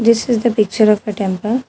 This is the picture of a temple.